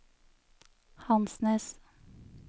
Hansnes